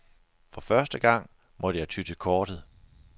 For første gang måtte jeg ty til kortet.